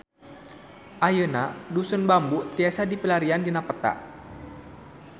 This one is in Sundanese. Ayeuna Dusun Bambu tiasa dipilarian dina peta